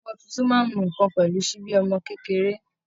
Ọmọ tuntun máa ń mu nǹkan pẹ̀lú ṣíbí ọmọ kékeré